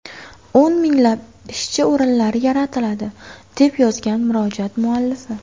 O‘n minglab ishchi o‘rinlari yaratiladi”, deb yozgan murojaat muallifi.